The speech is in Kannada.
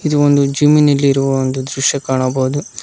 ಈ ಒಂದು ಜಿಮ್ಮಿ ನಲ್ಲಿರುವ ಒಂದು ದೃಶ್ಯ ಕಾಣಬಹುದು.